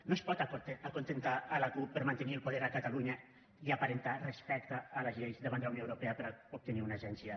no es pot acontentar la cup per a mantenir el poder a catalunya i aparentar respecte a les lleis davant de la unió europea per a obtenir una agència